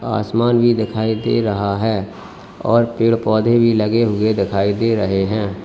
आसमान भी दिखाई दे रहा है और पेड़ पौधे भी लगे हुए दिखाई दे रहे हैं।